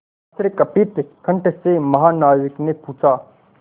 आश्चर्यकंपित कंठ से महानाविक ने पूछा